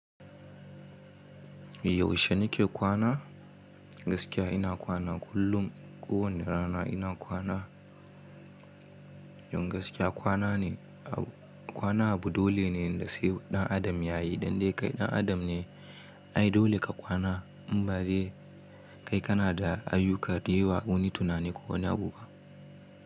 Yaushe nake kwana? Gaskiya ina kwana kullum. Ko wane rana ina kwana. Don gaskiya kwana ne, kwana abu dole ne da sai ɗan adam yayi. Dan dai kai ɗan adam ne ai dole ka kwana in ba dai, kai kana da ayyuka daai wa wani tunani ko wani abu ba.